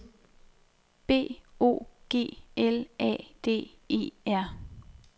B O G L A D E R